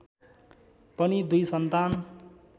पनि दुई सन्तान